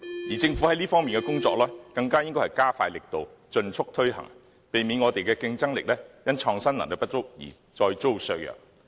而政府在這方面的工作更應加快力度，盡速推行，避免我們的競爭力因創新能力不足而再遭削弱。